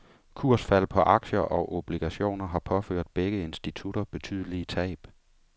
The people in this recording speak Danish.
Kursfald på aktier og obligationer har påført begge institutter betydelige tab.